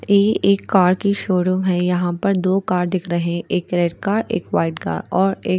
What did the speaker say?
ये एक कार की शोरूम है यहाँ पर दो कार दिख रही है एक रेड कार एक व्हाइट कार और ये--